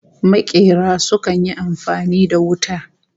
Makera sukan yi amfani da wuta